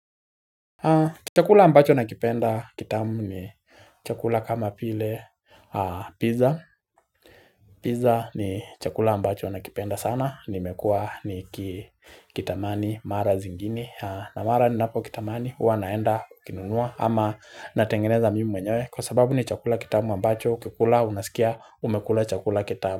Chakula ambacho nakipenda kitamu ni chakula kama vile pizza. Pizza ni chakula ambacho nakipenda sana. Nimekua nikikitamani mara zingini. Na mara ninapokitamani hua naenda kukinunua ama natengeneza mimi mwenyewe kwa sababu ni chakula kitamu ambacho ukikula unasikia umekula chakula kitamu.